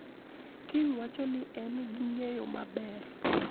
King wacho ni ne en gi ng`eyo maber